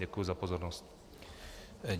Děkuji za pozornost.